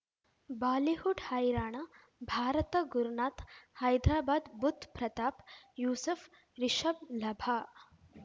Bollywood ಹೈರಾಣ ಭಾರತ ಗುರುನಾಥ್ ಹೈದ್ರಾಬಾದ್ ಬುಧ್ ಪ್ರತಾಪ್ ಯೂಸುಫ್ ರಿಷಬ್ ಲಭ